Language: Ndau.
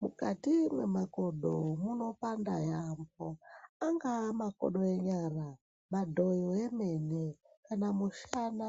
Mukati memakodo munopanda yambo angava makodo enyara yemene kana mushana